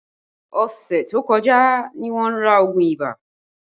Ọṣẹ tó kọjá ní wọn ra oogun ibà